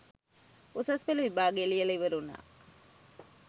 උසස් පෙළ විභාගය ලියලා ඉවර වුණා